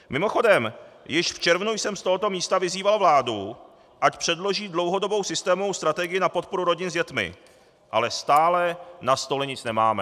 Mimochodem již v červnu jsem z tohoto místa vyzýval vládu, ať předloží dlouhodobou systémovou strategii na podporu rodin s dětmi, ale stále na stole nic nemáme.